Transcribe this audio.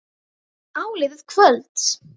Áliðið kvölds.